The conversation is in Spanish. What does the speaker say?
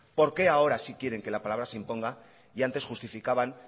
por qué ahora sí quieren que la palabra se imponga y antes justificaban